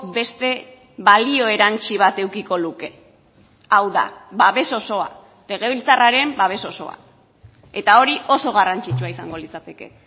beste balio erantsi bat edukiko luke hau da babes osoa legebiltzarraren babes osoa eta hori oso garrantzitsua izango litzateke